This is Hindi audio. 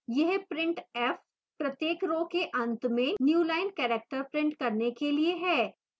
यह printf प्रत्येक row के अंत में newline character printf करने के लिए है